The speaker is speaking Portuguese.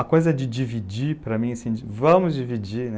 A coisa de dividir, para mim, vamos dividir, né?